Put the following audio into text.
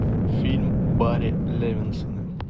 фильм барри левинсона